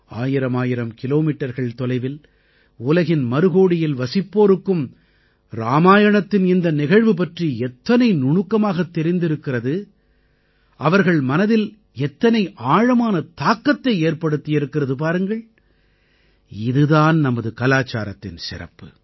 ஆயிரமாயிரம் கிலோமீட்டர்கள் தொலைவில் உலகின் மறுகோடியில் வசிப்போருக்கும் இராமாயணத்தின் இந்த நிகழ்வு பற்றி எத்தனை நுணுக்கமாகத் தெரிந்திருக்கிறது அவர்கள் மனதில் எத்தனை ஆழமான தாக்கத்தை ஏற்படுத்தியிருக்கிறது பாருங்கள் இது தான் நமது கலாச்சாரத்தின் சிறப்பு